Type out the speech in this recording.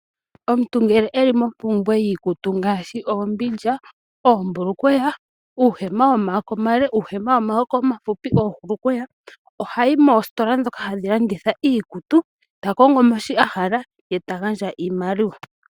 Omuntu ngele eli mompumbwe yiikutu ngaashi oombindja, oombulukweya, uuhema womaako omale, uuhema womaako omafupi, oohulukweya, ohayi moositola dhoka hadhi landitha iikutu, ta kongo mo shoka a hala ye ta gandja oshimaliwa.